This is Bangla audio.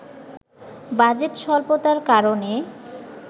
বাজেট স্বল্পতার কারণে